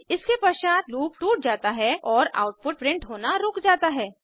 इसके पश्चात लूप टूट जाता है और आउटपुट प्रिंट होना रुक जाता है